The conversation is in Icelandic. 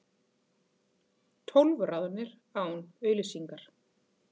Tólf ráðnir án auglýsingar